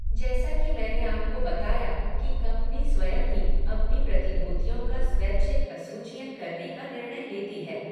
जैसा कि मैंने आपको बताया कि कंपनी स्वयं ही अपनी प्रतिभूतियों का स्वैछिक असूचीयन करने का निर्णय लेती है।